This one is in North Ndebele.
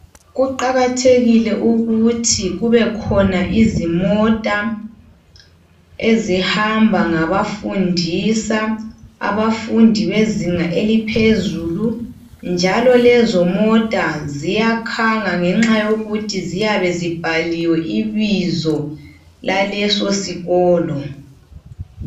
Kuqakathekile ukuthi kubekhona izimota ezihamba ngabafundisa abafundi bezinga eliphezulu njalo lezo mota ziyakhanga ngenxa yekuthi ziyabe zibhaliwe ibizo laleso sikolo.